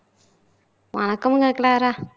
வணக்கமுங்க க்ளாரா